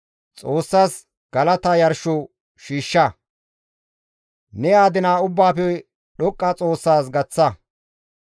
Xoossas galata yarsho shiishsha; ne adina Ubbaafe Dhoqqa Xoossas gaththa.